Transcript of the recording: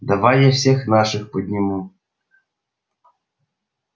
давай я всех наших подниму